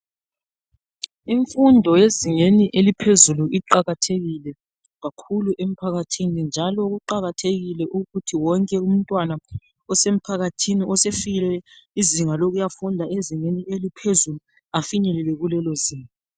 Imfundo yezingeni eliphezulu iqakathekile, kakhulu emphakathini, njalo kuqakathekile ukuthi wonke umntwana osefikile ukuyafunda kuzinga eliphezulu. Afinyelele lapho.